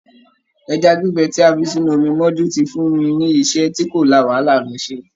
Ẹja gbígbẹ tí a fi sínú omi mọ́jú ti fun mi ní iṣẹ́ tí kò la wàhálà lọ ṣe.